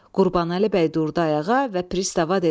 Qurbanəli bəy durdu ayağa və Pristava dedi: